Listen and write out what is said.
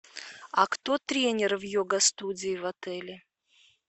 а кто тренер в йога студии в отеле